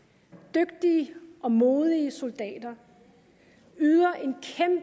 dygtige og modige soldater yder